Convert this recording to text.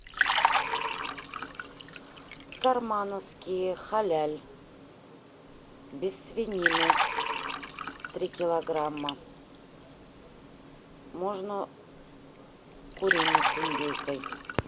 сармановские халяль без свинины три килограмма можно куриные с индейкой